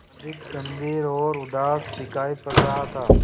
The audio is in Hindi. अधिक गंभीर और उदास दिखाई पड़ रहा था